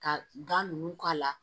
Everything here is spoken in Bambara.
Ka gan nunnu k'a la